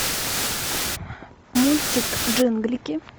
мультик джинглики